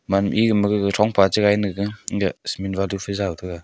man ega ma gaga thongpa chi gai ne ga cement balu phai jaw taiga.